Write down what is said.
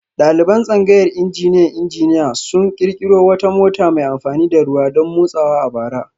Daliban tsangayar injiniyan injiniya sun kirkiro wata mota mai amfani da ruwa don motsawa a bara